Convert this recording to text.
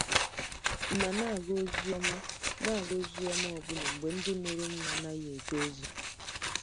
M̀ na-aga ozi ọma na-aga ozi ọma ọbụna mgbe ndị mụrụ m na-anaghị eje ozi?